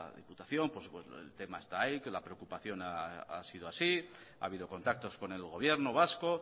diputación pues el tema está ahí que la preocupación ha sido así ha habido contactos con el gobierno vasco